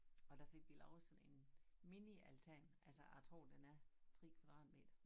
Og der fik vi lavet sådan en mini altan altså jeg tror den er 3 kvadratmeter